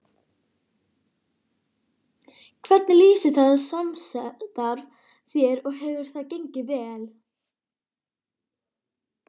Hvernig lýsir það samstarf sér og hefur það gengið vel?